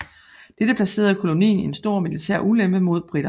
Dette placerede kolonien i en stor militær ulempe mod briterne